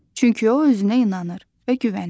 Çünki o özünə inanır və güvənir.